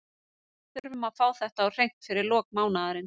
Við þurfum að fá þetta á hreint fyrir lok mánaðarins.